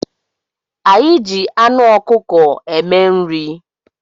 Anyị ji anụ ọkụkọ eme nri